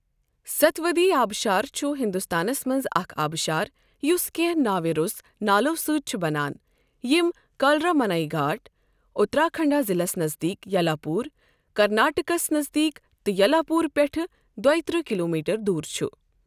ستھودی آبشار چھ ہندوستانَس منٛز اکھ آبشار یس کٮ۪نٛہہ ناوٕ روٚس نالو سۭتۍ چھِ بنان یِم کلرامانے گھاٹ، اترا کنڑا ضلعس نزدیٖک یلا پوٗر، کرناٹکَس نزدیٖک تہٕ یلاپور پٮ۪ٹھ دۄیہ ترٕہ کِلومیٹر دور چھِ۔